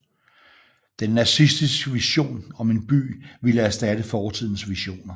Den nazistiske vision om en by ville erstatte fortidens visioner